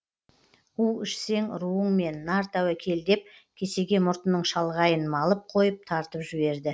у ішсең руыңмен нар тәуекел деп кесеге мұртының шалғайын малып қойып тартып жіберді